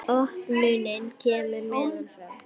Opnunin kemur neðan frá.